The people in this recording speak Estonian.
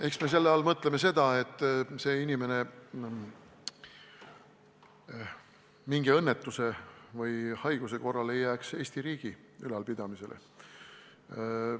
Eks me mõtleme selle all seda, et inimene mingi õnnetuse või haiguse korral ei jääks Eesti riigi ülal pidada.